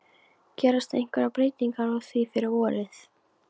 Gerast einhverjar breytingar á því fyrir vorið?